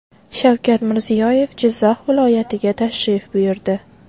Shavkat Mirziyoyev Jizzax viloyatiga tashrif buyurdi.